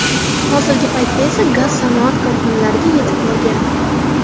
Hozirgi paytda esa gaz sanoat korxonalariga yetib borgan.